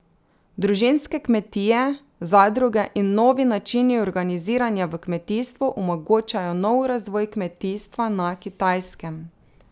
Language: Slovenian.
Družinske kmetije, zadruge in novi načini organiziranja v kmetijstvu omogočajo nov razvoj kmetijstva na Kitajskem.